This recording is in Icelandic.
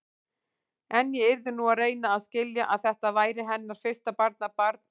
En ég yrði nú að reyna að skilja, að þetta væri hennar fyrsta barnabarn og.